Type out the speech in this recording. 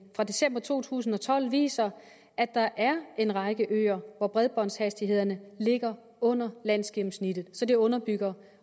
fra december to tusind og tolv viser at der er en række øer hvor bredbåndshastighederne ligger under landsgennemsnittet så det underbygger